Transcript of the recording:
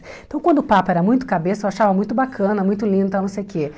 Então, quando o Papa era muito cabeça, eu achava muito bacana, muito linda, tal não sei o quê.